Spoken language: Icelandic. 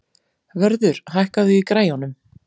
Vörður, hækkaðu í græjunum.